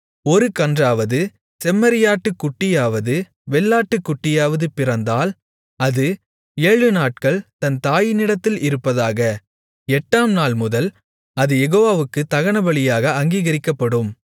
ஒரு கன்றாவது செம்மறியாட்டுக்குட்டியாவது வெள்ளாட்டுக்குட்டியாவது பிறந்தால் அது ஏழுநாட்கள் தன் தாயினிடத்தில் இருப்பதாக எட்டாம் நாள் முதல் அது யெகோவாவுக்குத் தகனபலியாக அங்கீகரிக்கப்படும்